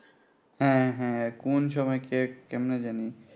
হ্যাঁ হ্যাঁ কোন সময় কে কেমনে জানি